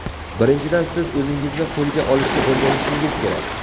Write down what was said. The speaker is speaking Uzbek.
Birinchidan , siz o‘zingizni qo‘lga olishni o‘rganishingiz kerak.